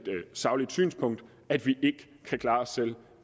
sagligt synspunkt at vi ikke kan klare os selv